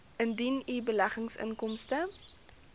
indien u beleggingsinkomste